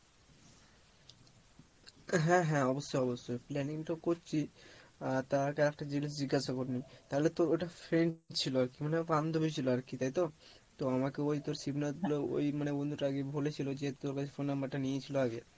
হ্যাঁ হ্যাঁ অবশ্যই অবশ্যই planning তো করছি আহ তার আগে একটা জিনিস জিজ্ঞাসা করে নি, তাহলে তোর ওটা friend ছিলো আর কি মানে বান্ধবী ছিলো আর কি তাই তো? তো আমাকে এই তোর শিবনাথ ওই মানে বন্ধুটা আর কি বলেছিলো যে তোর কাছে phone number টা নিয়েছিলো আগে